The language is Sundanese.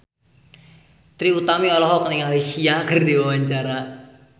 Trie Utami olohok ningali Sia keur diwawancara